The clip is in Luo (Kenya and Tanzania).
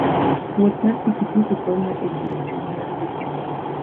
Wuoth mar pikipiki konyo e jiwo chuny mar winjruok.